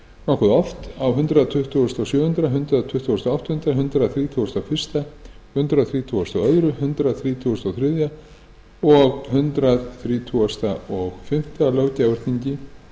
nokkuð oft á hundrað tuttugasta og sjöunda hundrað tuttugasta og áttunda hundrað þrítugasta og fyrstu hundrað þrítugasta og annað hundrað þrítugasta og þriðja og hundrað þrítugasta og fimmta löggjafarþingi